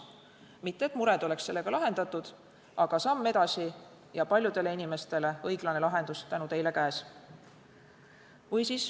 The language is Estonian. Mitte et mured oleks sellega lahendatud, aga see on samm edasi ja paljudele inimestele õiglane lahendus on tänu teile käes.